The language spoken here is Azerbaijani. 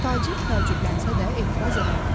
Tacir təəccüblənsə də, etiraz eləmədi.